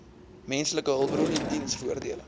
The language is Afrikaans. menslike hulpbronne diensvoordele